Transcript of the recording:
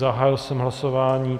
Zahájil jsem hlasování.